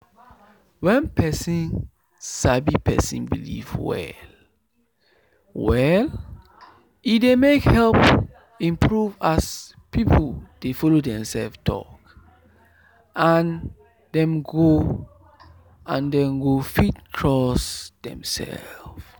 wen person sabi person belief well-well e dey help improve as people dey follow demsef talk and dem go and dem go fit trust demsef.